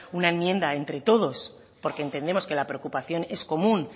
una enmienda entre todos porque entendemos que la preocupación es común